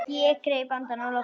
Ég greip andann á lofti.